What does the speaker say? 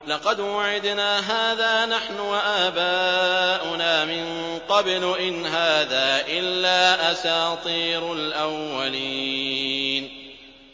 لَقَدْ وُعِدْنَا هَٰذَا نَحْنُ وَآبَاؤُنَا مِن قَبْلُ إِنْ هَٰذَا إِلَّا أَسَاطِيرُ الْأَوَّلِينَ